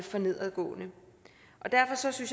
for nedadgående derfor synes jeg